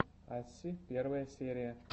асси первая серия